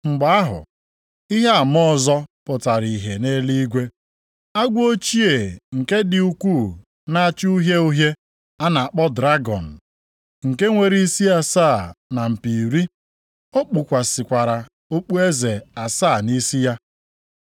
Mgbe ahụ, ihe ama ọzọ pụtara ihe nʼeluigwe, agwọ ochie nke dị ukwuu na-acha uhie uhie a na-akpọ dragọn, nke nwere isi asaa na mpi iri. O kpukwasịkwara okpueze asaa nʼisi ya.